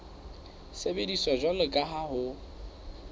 sebediswa jwalo ka ha ho